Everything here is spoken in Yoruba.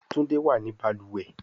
Tunde wá ní baluwe.